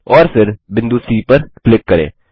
और फिर बिंदु सी पर क्लिक करें